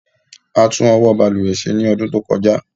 A tún ọwọ́ balùwẹ̀ ṣe ní ọdún tí ó kọjá.